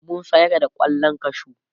mun sayar da kwallon kwashu